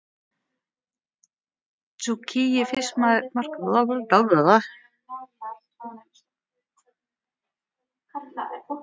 Tsukiji fiskmarkaðurinn í Tókýó er ótrúlegur staður.